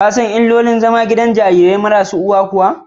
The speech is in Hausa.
Shin ka san illolin zama a gidan jarirai marasa uwa kuwa?